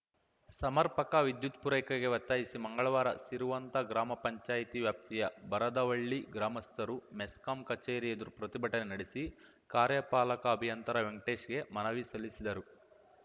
ಸಮರ್ಪಕ ವಿದ್ಯುತ್‌ ಪೂರೈಕೆಗೆ ಒತ್ತಾಯಿಸಿ ಮಂಗಳವಾರ ಸಿರುವಂತ ಗ್ರಾಮ ಪಂಚಾಯ್ತಿ ವ್ಯಾಪ್ತಿಯ ಬರದವಳ್ಳಿ ಗ್ರಾಮಸ್ಥರು ಮೆಸ್ಕಾಂ ಕಚೇರಿ ಎದುರು ಪ್ರತಿಭಟನೆ ನಡೆಸಿ ಕಾರ್ಯಪಾಲಕ ಅಭಿಯಂತರ ವೆಂಕಟೇಶ್‌ಗೆ ಮನವಿ ಸಲ್ಲಿಸಿದರು